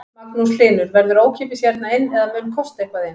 Magnús Hlynur: Verður ókeypis hérna inn eða mun kosta eitthvað inn?